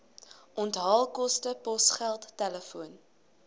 onthaalkoste posgeld telefoon